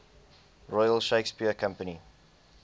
royal shakespeare company